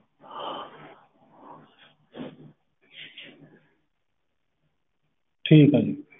ਹਮ ਠੀਕ ਆ ਜੀ